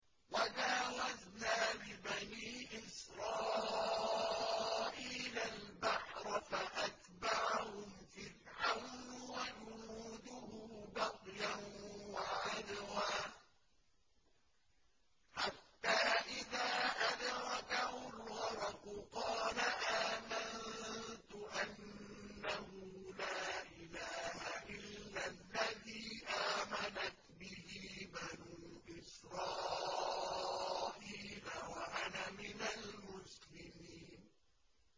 ۞ وَجَاوَزْنَا بِبَنِي إِسْرَائِيلَ الْبَحْرَ فَأَتْبَعَهُمْ فِرْعَوْنُ وَجُنُودُهُ بَغْيًا وَعَدْوًا ۖ حَتَّىٰ إِذَا أَدْرَكَهُ الْغَرَقُ قَالَ آمَنتُ أَنَّهُ لَا إِلَٰهَ إِلَّا الَّذِي آمَنَتْ بِهِ بَنُو إِسْرَائِيلَ وَأَنَا مِنَ الْمُسْلِمِينَ